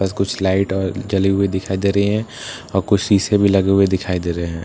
बस कुछ लाइट और जली हुई दिखाई दे रही हैं और कुछ शीशे भी लगे हुए दिखाई दे रहे हैं।